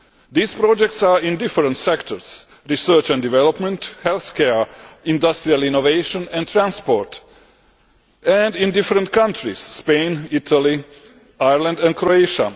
These projects are in different sectors research and development, healthcare, industrial innovation, and transport and in different countries Spain, Italy, Ireland and Croatia.